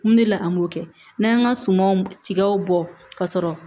Mun de la an m'o kɛ n'an y'an ka sumanw tigaw bɔ ka sɔrɔ